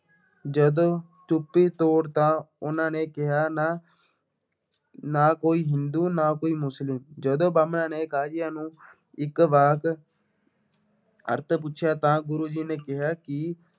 ਜਦੋਂ ਚੁੱਪੀ ਤੋੜੀ ਤਾਂ ਉਹਨਾ ਨੇ ਕਿਹਾ ਨਾ ਨਾ ਕੋਈ ਹਿੰਦੂ, ਨਾ ਕੋਈ ਮੁਸਲਿਮ, ਜਦੋਂ ਬਾਹਮਣਾਂ ਨੇ ਨੂੰ ਇਸ ਵਾਕ ਅਰਥ ਪੁੱਛਿਆ ਤਾਂ ਗੁਰੂ ਜੀ ਨੇ ਕਿਹਾ ਕਿ